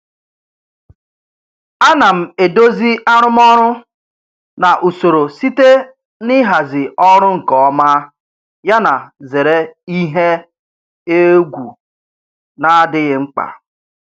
Ana m edozi arụmọrụ na usoro site na ịhazi ọrụ nke ọma yana zere ihe egwu na-adịghị mkpa.